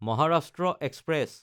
Maharashtra express